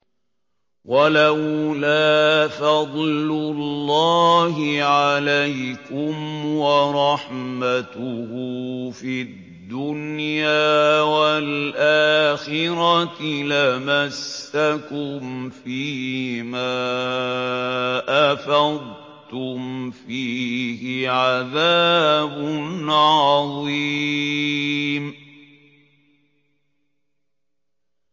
وَلَوْلَا فَضْلُ اللَّهِ عَلَيْكُمْ وَرَحْمَتُهُ فِي الدُّنْيَا وَالْآخِرَةِ لَمَسَّكُمْ فِي مَا أَفَضْتُمْ فِيهِ عَذَابٌ عَظِيمٌ